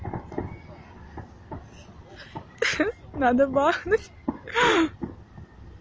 надо бахнуть